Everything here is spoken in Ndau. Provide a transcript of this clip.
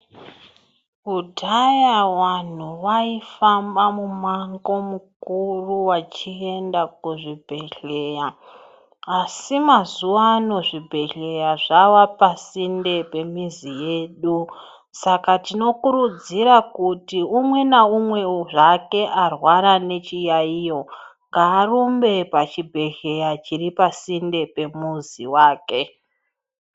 Kudhaya vanhu vaifamba mumango mukuru vachienda kuzvibhehleya. Asi mazuvano zvibhehleya zvavapasinde pemizi yedu. Saka tinokurudzira kuti umwe naumwewo zvake arwara nechiyaiyo, ngaarumbe pachibhehleya chiripasinde pemuzi wake.